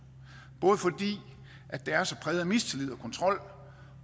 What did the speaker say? både fordi det er så præget af mistillid og kontrol